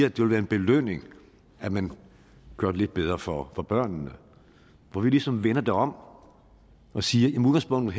at det vil være en belønning at man gør det lidt bedre for børnene hvor vi ligesom vender det om og siger